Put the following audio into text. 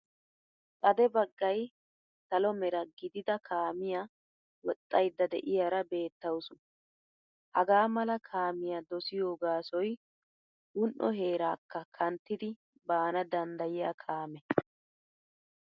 Xade baggay salo mera gidida kaamiya woxxayidda de'iyaara beettawusu. Hagaa mala kaamiya dosiyo gaasoy un'o heeraakka kanttiddi banana danddayiya kaamee.